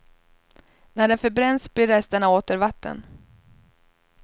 När den förbränns blir resterna åter vatten.